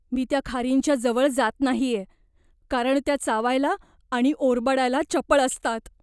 मी त्या खारींच्या जवळ जात नाहीये कारण त्या चावायला आणि ओरबाडायला चपळ असतात.